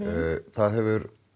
það hefur